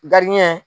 Gari ɲɛ